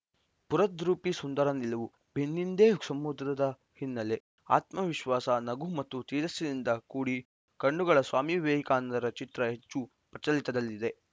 ಸ್ಪುರದ್ರೂಪಿ ಸುಂದರ ನಿಲುವು ಬೆನ್ನಿಂದೆ ಸಮುದ್ರದ ಹಿನ್ನೆಲೆ ಆತ್ಮವಿಶ್ವಾಸ ನಗು ಮತ್ತು ತೇಜಸ್ಸಿನಿಂದ ಕೂಡಿ ಕಣ್ಣುಗಳ ಸ್ವಾಮಿ ವಿವೇಕಾನಂದರ ಚಿತ್ರ ಹೆಚ್ಚು ಪ್ರಚಲಿತದಲ್ಲಿದೆ